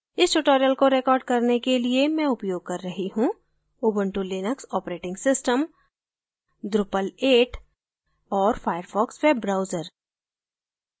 इस tutorial को record करने के लिए मैं उपयोग कर रही हूँ: Ubuntu Linux operating system drupal 8 और firefox वेब ब्राउजर